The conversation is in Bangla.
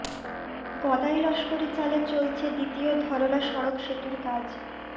গদাই লস্করি চালে চলছে দ্বিতীয় ধরলা সড়ক সেতুর কাজ